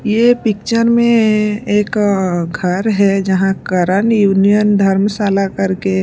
ये पिक्चर में एक अअ घर है जहाँ करण यूनियन धर्मशाला करके --